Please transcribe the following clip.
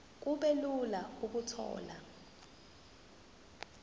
kube lula ukuthola